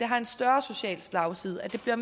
har en større social slagside og det bliver